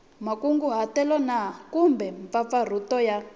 makunguhatelo na kumbe mampfampfarhutelo ya